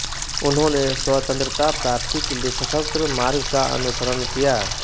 उन्होंने स्वतंत्रता प्राप्ति के लिए सशस्त्र मार्ग का अनुसरण किया